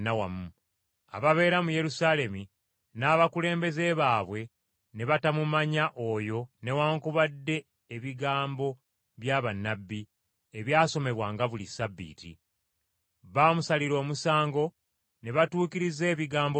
Ababeera mu Yerusaalemi n’abakulembeze baabwe ne batamumanya oyo newaakubadde ebigambo bya bannabbi, ebyasomebwanga buli Ssabbiiti. Baamusalira omusango, ne batuukiriza ebigambo bino.